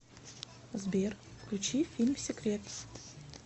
сбер включи фильм секрет